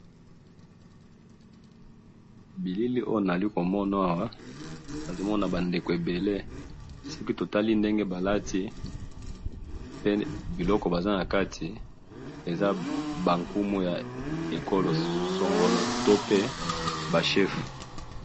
bilele oyo nalikomona awa nazokoma bandeko ebele sokitotali ndenge balati pe bilokobazanakati ezabakumu ya ecolosongolo tope ba cheffu